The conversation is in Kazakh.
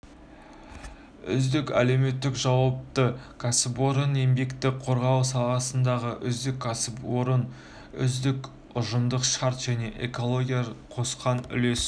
үздік әлеуметтік жауапты кәсіпорын еңбекті қорғау саласындағы үздік кәсіпорын үздік ұжымдық шарт және экологияға қосқан үлесі